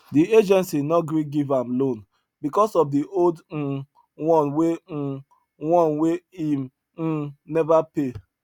the agency no gree give am loan because of the old um one wey um one wey im um never pay